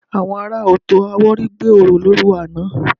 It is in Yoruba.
Àwọn ará Ọ̀tọ̀-Àwórì gbé orò lóru àná